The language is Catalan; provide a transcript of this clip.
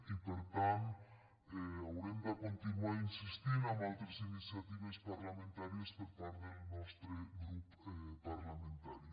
i per tant haurem de continuar insistint amb altres iniciatives parlamentàries per part del nostre grup parlamentari